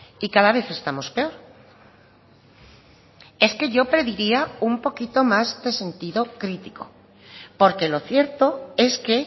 y cada vez estamos peor es que yo pediría un poquito más de sentido crítico porque lo cierto es que